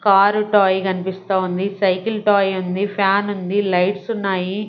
Car toy కన్పిస్తా ఉంది cycle toy ఉంది ఫ్యాన్ ఉంది లైట్సున్నాయి .